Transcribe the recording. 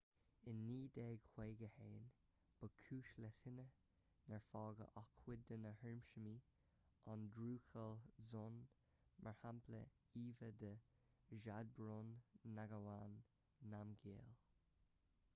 in 1951 ba chúis le tine nár fágadh ach cuid de na hiarsmaí an drukgyal dzong mar shampla íomhá de zhabdrung ngawang namgyal